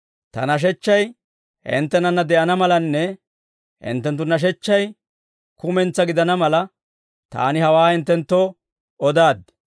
«Ta nashechchay hinttenanna de'ana malanne, hinttenttu nashechchay kumentsaa gidana mala, Taani hawaa hinttenttoo odaaddi.